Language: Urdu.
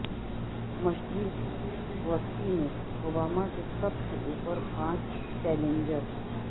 مشرق وسطی میں اوباما کے سب سے اوپر پانچ چیلنجز